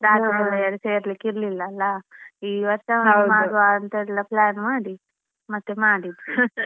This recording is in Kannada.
ಸೇರ್ಲಿಕ್ಕೆ ಇರ್ಲಿಲ್ಲ ಅಲ್ಲ. ಈ ವರ್ಷ ಮಾಡುವಂಥ ಎಲ್ಲ plan ಮಾಡಿದ್ದು ಮತ್ತೆ ಮಾಡಿದ್ವಿ .